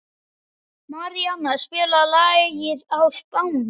Maríanna, spilaðu lagið „Á Spáni“.